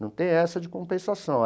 Não tem essa de compensação.